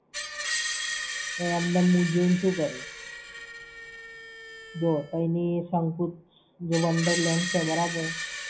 ને એમ ને એમ હું જોઈને શું કરું? જો તઈંની શંકુશ wonderland છે બરાબર?